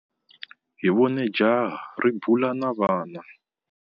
Hi vone jaha ri bula na vana.